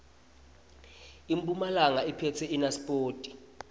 impumalanga iphetse inasipoti